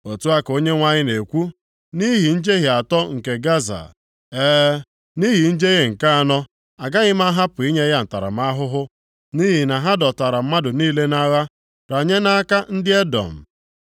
Otu a ka Onyenwe anyị na-ekwu, “Nʼihi njehie atọ nke Gaza, e, nʼihi njehie nke anọ, agaghị m ahapụ inye ya ntaramahụhụ, nʼihi na ha dọtara mmadụ niile nʼagha, ranye nʼaka ndị Edọm.